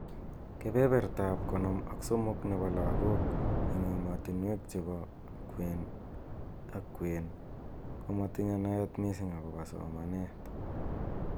Kebeberta ab konom ak somok nebo lakok eng emotunwek chebo kweni ak kwen komatinye naet mising akobo somanet.